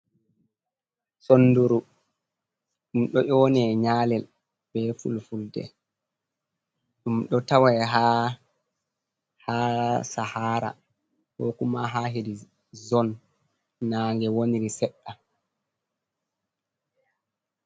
Sonduru ɗum ɗo yone nyalel be fulfulde. Ɗum ɗo tawai ha sahara ko kuma ha hedi zon nange woniri seɗɗa.